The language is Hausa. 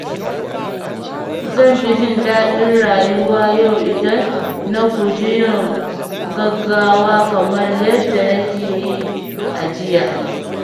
Zan fi jin daɗin rayuwa yau idan na guji yin gaggawa kamar yadda nake yi a jiya.